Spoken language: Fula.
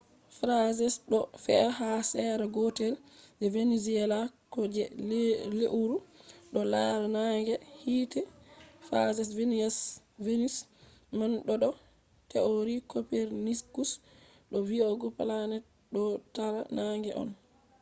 phases ɗo fe’a ha sera gotel je venus ko je leuru ɗo lara nange be hiite. phases venus man ɗo do theory copernicus do vi’ugo planets ɗo tara nange on